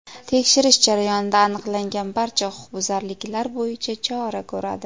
tekshirish jarayonida aniqlangan barcha huquqbuzarliklar bo‘yicha chora ko‘radi.